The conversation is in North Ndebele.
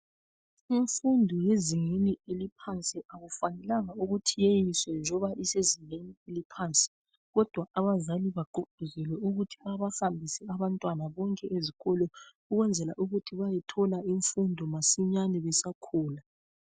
Imfundo yezingeni eliphansi akufanelanga ukuthi iyeyiswe njoba isezingeni eliphansi kodwa abazali bagqugquzele ukuthi babahambise abantwana bonke ezikolo ukwenzela ukuthi bayethola imfundo masinyani besakhula.